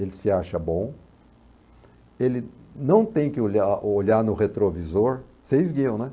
Ele se acha bom, ele não tem que olhar olhar no retrovisor, vocês guiam, né?